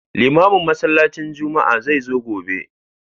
Limamin masallacin juma'a zai zo gobe